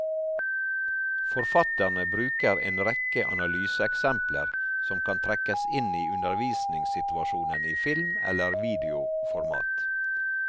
Forfatterne bruker en rekke analyseeksempler som kan trekkes inn i undervisningssituasjonen i film eller videoformat.